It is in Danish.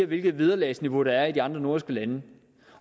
hvilket vederlagsniveau der er i de andre nordiske lande